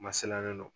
Masina don